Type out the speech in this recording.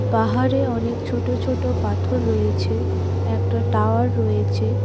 পাহাড়ে অনেক ছোট ছোট পাথর রয়েছে একটা টাওয়ার রয়েছে।